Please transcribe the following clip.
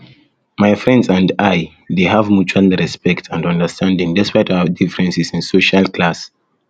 my friends and i dey have mutual respect and understanding despite our differences in social class